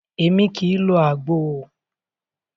Émi kìí lo àgbo o.